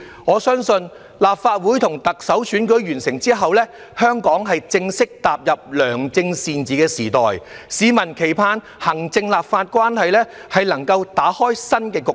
我相信，立法會和特首選舉完成後，香港會正式踏入良政善治的時代，市民期盼行政和立法關係能夠打開新局面。